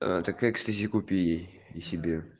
ээ так экстази купи ей и себе